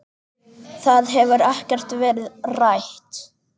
Það hefur ekkert verið rætt.